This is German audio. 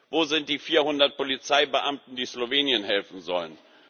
Wo sind die 400 Polizeibeamten, die Slowenien helfen sollen?